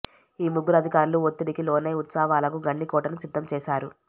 ఈ ముగ్గురు అధికారులు వత్తిడికి లోనై ఉత్సవాలకు గండికోటను సిద్ధం చేశారు